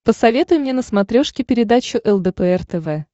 посоветуй мне на смотрешке передачу лдпр тв